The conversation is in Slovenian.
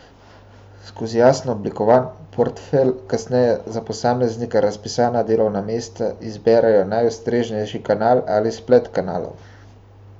Skozi jasno oblikovan portfelj kasneje za posamezna razpisana delovna mesta izberejo najustreznejši kanal ali splet kanalov.